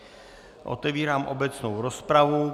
Otevírám obecnou rozpravu.